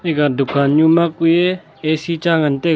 aga dukan nu ma kue ac cha ngan taga.